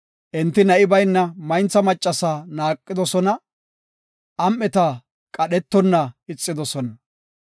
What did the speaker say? Enti na7i bayna mayntha maccasa naaqidosona; am7eta qadhetonna ixidosona.